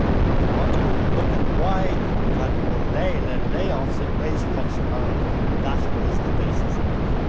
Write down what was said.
If you want to look at why we have had more layoffs than wage cuts in Ireland, that is the basis of it.